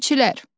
Dilçilər.